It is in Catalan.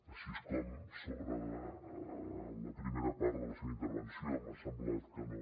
així com la primera part de la seva intervenció m’ha semblat que no